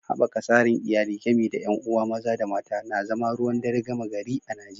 Haɓaka tsarin iyali, gami da ƴan uwa maza da mata, na zama ruwan dare gama gari a Najeriya.